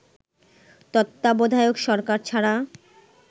তত্ত্বাবধায়ক সরকার ছাড়া